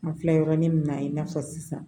An filɛ yɔrɔnin min na i n'a fɔ sisan